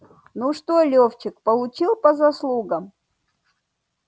ну что левчик получил по заслугам